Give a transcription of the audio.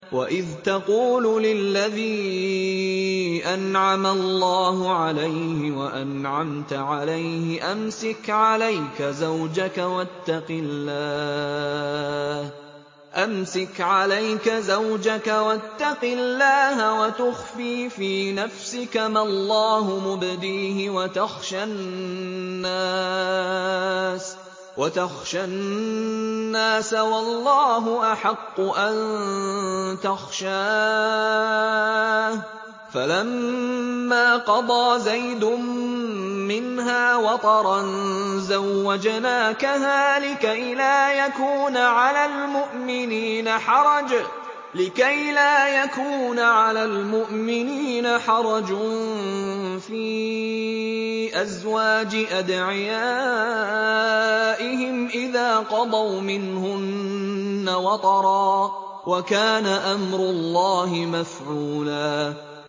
وَإِذْ تَقُولُ لِلَّذِي أَنْعَمَ اللَّهُ عَلَيْهِ وَأَنْعَمْتَ عَلَيْهِ أَمْسِكْ عَلَيْكَ زَوْجَكَ وَاتَّقِ اللَّهَ وَتُخْفِي فِي نَفْسِكَ مَا اللَّهُ مُبْدِيهِ وَتَخْشَى النَّاسَ وَاللَّهُ أَحَقُّ أَن تَخْشَاهُ ۖ فَلَمَّا قَضَىٰ زَيْدٌ مِّنْهَا وَطَرًا زَوَّجْنَاكَهَا لِكَيْ لَا يَكُونَ عَلَى الْمُؤْمِنِينَ حَرَجٌ فِي أَزْوَاجِ أَدْعِيَائِهِمْ إِذَا قَضَوْا مِنْهُنَّ وَطَرًا ۚ وَكَانَ أَمْرُ اللَّهِ مَفْعُولًا